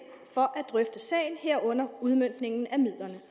for at drøfte sagen herunder udmøntningen af midlerne